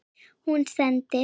Hún sendir